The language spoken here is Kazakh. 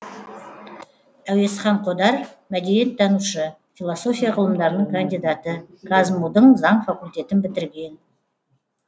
әуезхан қодар мәдениеттанушы философия ғылымдарының кандидаты қазму дың заң факультетін бітірген